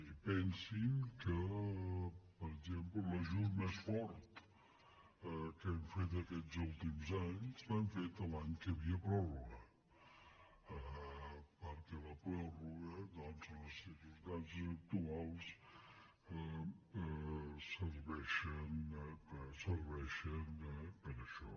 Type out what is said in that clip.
i pensin que per exemple l’ajut més fort que hem fet aquests últims anys l’hem fet l’any que hi havia pròrroga perquè les pròrrogues doncs en les circumstàncies actuals ser·veixen per això